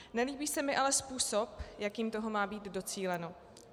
Nelíbí se mi ale způsob, jakým toho má být docíleno.